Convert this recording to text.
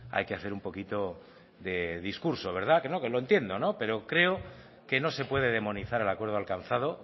hay que hacer un poquito de discurso verdad que no que lo entiendo pero creo que no se puede demonizar el acuerdo alcanzado